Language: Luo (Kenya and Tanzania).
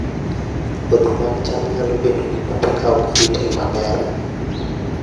Kodhi mag cham nyalo bedo gi kute ka ok oritgi maber